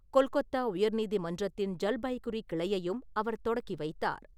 கொல்கொத்தா உயர் நீதிமன்றத்தின் ஜல்பைகுரி கிளையையும் அவர் தொடக்கிவைத்தார் .